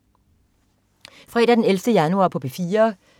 Fredag den 11. januar - P4: